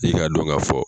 I k'a dɔn ka fɔ